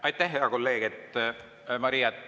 Aitäh, hea kolleeg Maria!